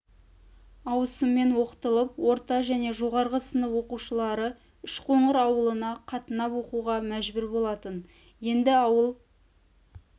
ауысыммен оқытылып орта және жоғары сынып оқушылары үшқоңыр ауылына қатынап оқуға мәжбүр болатын енді ауыл